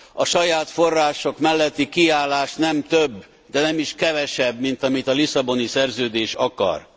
A saját források melletti kiállás nem több, de nem is kevesebb, mint amit a Lisszaboni Szerződés akar.